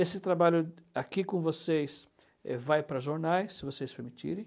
Esse trabalho aqui com vocês vai para jornais, se vocês permitirem.